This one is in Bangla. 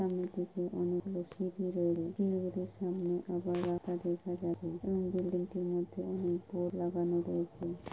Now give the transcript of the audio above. বিল্ডিং টির মধ্যে অনেক বোর্ড লাগানো রয়েছে।